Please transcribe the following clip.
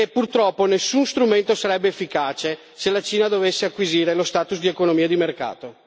Purtroppo, nessuno strumento sarebbe efficace se la Cina dovesse acquisire lo status di economia di mercato.